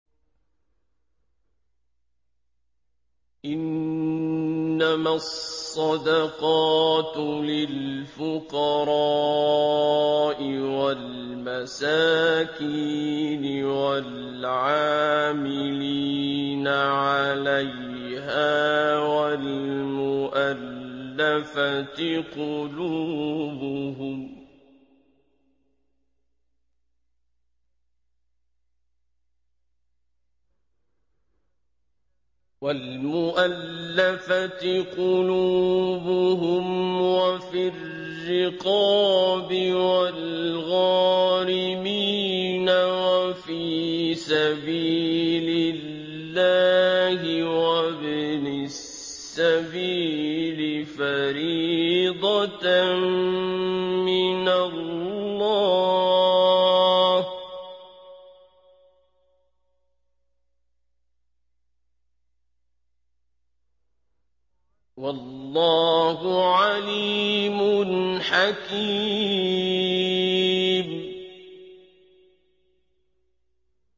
۞ إِنَّمَا الصَّدَقَاتُ لِلْفُقَرَاءِ وَالْمَسَاكِينِ وَالْعَامِلِينَ عَلَيْهَا وَالْمُؤَلَّفَةِ قُلُوبُهُمْ وَفِي الرِّقَابِ وَالْغَارِمِينَ وَفِي سَبِيلِ اللَّهِ وَابْنِ السَّبِيلِ ۖ فَرِيضَةً مِّنَ اللَّهِ ۗ وَاللَّهُ عَلِيمٌ حَكِيمٌ